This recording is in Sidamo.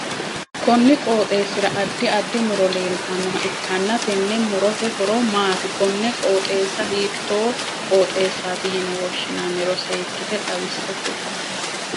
Konni qooxeesira addi addi muro leeltanoha ikanna tenne murote horo maati? Konne qooxeessa hiitoo qooxeessaati yinne woshinnanniro seekite xawise kuli?